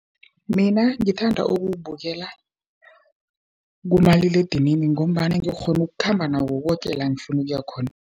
Mina ngithanda ukuwubukela kumaliledinini, ngombana ngikghona ukukhamba nawo koke la ngifuna ukuya khona.